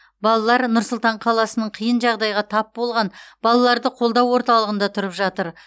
балалар нұр сұлтан қаласының қиын жағдайға тап болған балаларды қолдау орталығында тұрып жатыр